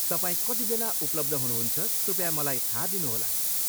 तपाईँ कतिबेला उपलब्ध हुनुहुन्छ कृपया मलाई थाहा दिनुहोला।